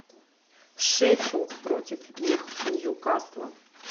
шеффилд против ньюкасла